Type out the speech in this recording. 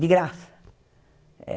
De graça.